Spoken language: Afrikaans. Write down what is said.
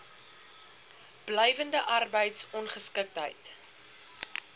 blywende arbeids ongeskiktheid